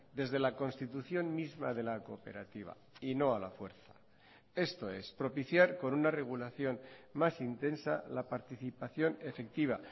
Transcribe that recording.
desde la constitución misma de la cooperativa y no a la fuerza esto es propiciar con una regulación más intensa la participación efectiva